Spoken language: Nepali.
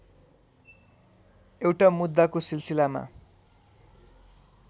एउटा मुद्दाको सिलसिलामा